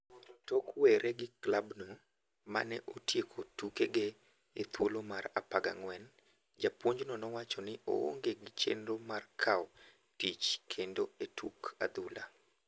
Tok werre gi klabno mane otieko tukege e thuolo mar 14, japuonjno nowacho ni oonge gi chenro mar kaw tich kendo e tuk adhula.